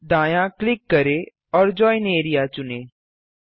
दायाँ क्लिक करें और जोइन एआरईए चुनें